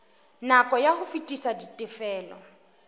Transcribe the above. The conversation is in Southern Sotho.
nako ya ho fetisa ditifelo